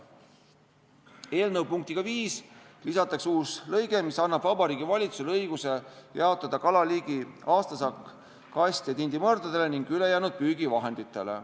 Eelnõu punktiga 5 lisatakse uus lõige, mis annab Vabariigi Valitsusele õiguse jaotada kalaliigi aastasaak kast- ja tindimõrdadele ning ülejäänud püügivahenditele.